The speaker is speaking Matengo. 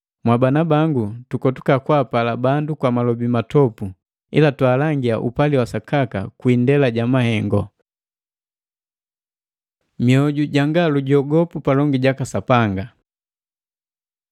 Bana bangu, tukotuka kwaapala bandu kwa malobi matopu, ila twaalangia upali wa sakaka kwi indela ja mahengu. Mioju janga lujogopu palongi jaka Sapanga